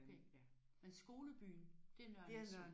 Okay. Men skolebyen det er Nørre Nissum?